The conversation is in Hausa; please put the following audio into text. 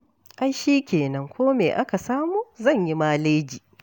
Ai shi kenan, ko me aka samu zan yi maleji.